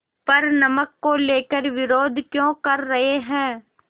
पर नमक को लेकर विरोध क्यों कर रहे हैं